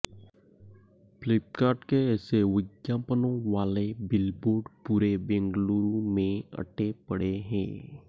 फ्लिपकार्ट के ऐसे विज्ञापनों वाले बिलबोर्ड पूरे बेंगलूर में अटे पड़े हैं